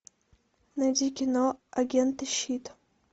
найди кино агенты щит